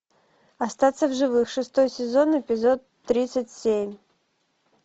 остаться в живых шестой сезон эпизод тридцать семь